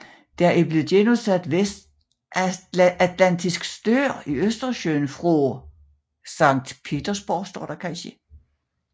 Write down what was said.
Der er blevet genudsat vestatlantisk stør i Østersøen fra St